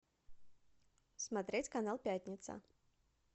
смотреть канал пятница